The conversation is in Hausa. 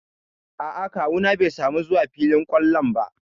A'a kawu na bai samu zuwa filin ƙwallon ba.